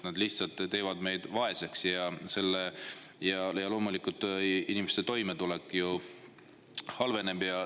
See lihtsalt teeb meid vaeseks ja inimeste toimetulek halveneb.